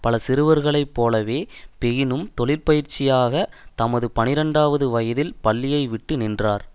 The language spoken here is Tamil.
பல சிறுவர்களை போலவே பெயினும் தொழிற்பயிற்சிக்காக தமது பனிரண்டுவது வயதில் பள்ளியை விட்டு நின்றார்